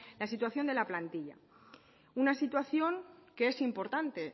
la situación de la plantilla una situación que es importante